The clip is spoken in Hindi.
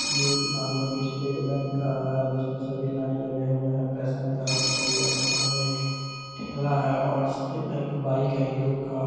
ये एक सामने की स्टेट बैंक है जिसमें सभी लाइन लगे हुए हैं पैसा निकाल ने के लिए और सामने एक ठेला है और एक बाइक है हीरो का--